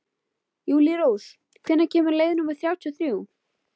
Júlírós, hvenær kemur leið númer þrjátíu og þrjú?